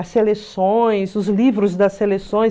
As seleções, os livros das seleções.